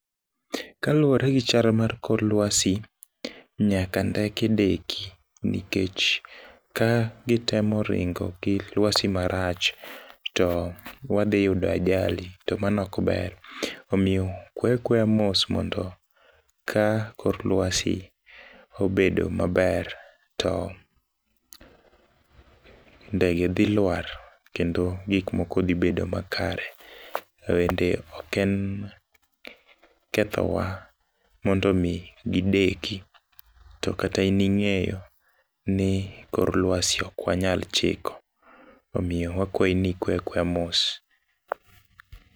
Kaluwore gi chalo mar kor lwasi, nyaka ndeke deki nikech ka gitemo ringo gi lwasi marach to wadhi yudo ajali to mano ok ber. Omiyo kwe akweya mos mondo ka kor lwasi obedo maber to ndege dhi lwar kendo gik moko dhi bedo makare. Bende ok en ketho wa mondo omi gideki. To kata in ing'eyo ni kor lwasi ok wanyal chiko. Omiyo wakwayi ni kwe akweya mos.